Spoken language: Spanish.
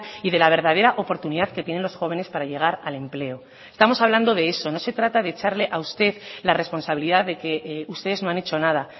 y de la verdadera oportunidad que tienen los jóvenes para llegar al empleo estamos hablando de eso no se trata de echarle a usted la responsabilidad de que ustedes no han hecho nada